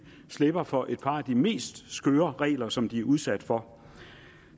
slipper for et par af de mest skøre regler som de bliver udsat for